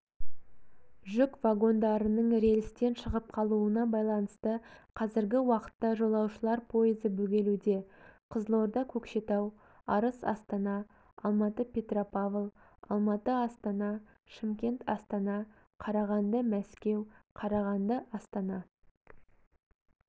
жүк вагондарының рельстен шығып қалуына байланысты қазіргі уақытта жолаушылар пойызы бөгелуде қызылорда-көкшетау арыс-астана алматы-петропавл алматы-астана шымкент-астана қарағанды-мәскеу қарағанды-астана